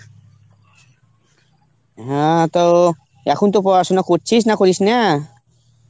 হ্যাঁ, তো এখন তো পড়াশোনা করছিস, না করিস না?